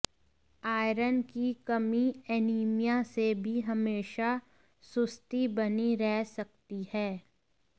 iron की कमी anaemia से भी हमेशा सुस्ती बनी रह सकती है